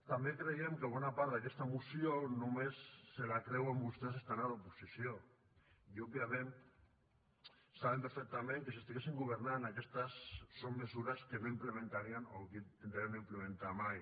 també creiem que bona part d’aquesta moció només se la creuen vostès estant a l’oposició i òbviament saben perfectament que si estiguessin governant aquestes són mesures que no implementarien o que intentarien no implementar mai